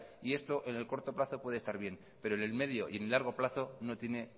y esto en el corto plazo puede estar bien pero en el medio y en el largo plazo no tiene